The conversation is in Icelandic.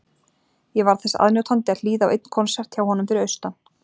Ég varð þess aðnjótandi að hlýða á einn konsert hjá honum fyrir austan.